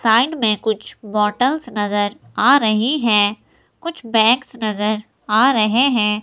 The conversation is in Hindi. साइड में कुछ बॉटल्स नजर आ रही है कुछ बैग्स नजर आ रहे हैं।